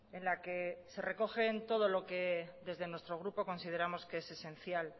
en la que se recogen todo lo que desde nuestro grupo consideramos que es esencial